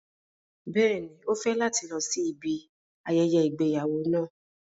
Bẹ́ẹ̀ni, o fẹ lati lọ si ibi ayẹyẹ igbeyawo náà